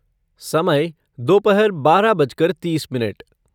समय दोपहर बारह बज कर तीस मिनट